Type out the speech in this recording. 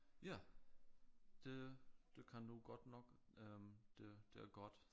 Ja det det kan du godt nok øh det det godt